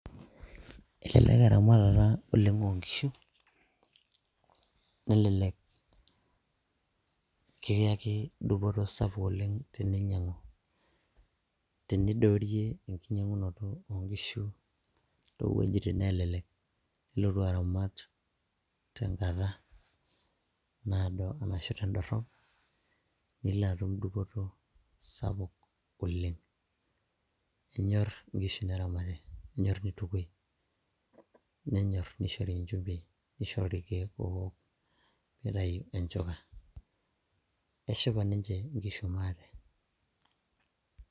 elelek eramatata oleng onkishu nelelek kiyaki dupoto sapuk oleng teninyiang'u tenidoorie enkinyiang'unoto onkishu towuejitin nelelek nilotu aramat tenkata naado arashu tendorrop nilo atum dupoto sapuk oleng enyorr inkishu neramati nenyorr nitukui nenyorr nishori inchumbin nishori irkeek owok pitayu enchuka eshipa ninche inkishu maate.